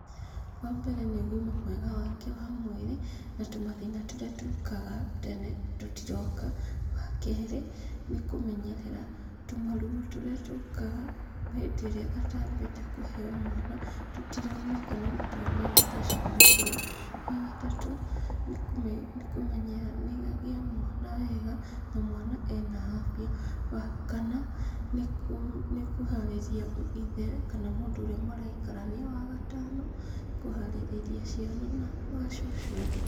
Wambere nĩ ũgima mwega wake wa mwĩrĩ, na tũmathĩna tũrĩa tũkaga tene tũtiroka. Wakerĩ nĩ kũmenyerera tũmaruo tũrĩa tũkaga hĩndĩ ĩrĩa atambĩte kũheo mwana, tũtironekana nĩtwacugurikĩrwo. Wagatatũ nĩ kũmenya nĩ agĩa mwana wega na mwana ena afya. Wakana nĩ kũharĩria ithe kana mũndũ ũrĩa maraikarania. Wagatano nĩ kũharĩrĩria ciana na macucuwe.